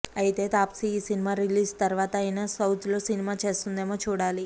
అయితే తాప్సీ ఈ cinema release తర్వాత అయినా సౌత్లో సినిమా చేస్తుందేమో చూడాలి